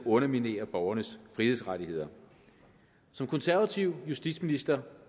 underminerer borgernes frihedsrettigheder som konservativ justitsminister